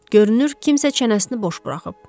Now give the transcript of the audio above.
Görünür kimsə çənəsini boş buraxıb.